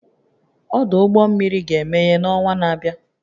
Ọdụ ụgbọ mmiri ga-emeghe n'ọnwa na-abịa